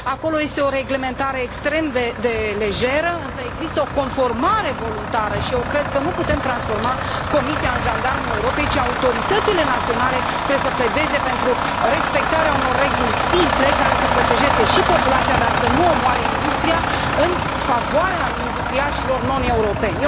Acolo este o reglementare extrem de lejeră, însă există o conformare voluntară și eu cred că nu putem transforma Comisia în jandarmul Europei, ci autoritățile naționale trebuie să pledeze pentru respectarea unor reguli simple care să protejeze și populația, dar să nu omoare industria în favoarea industriașilor non europeni.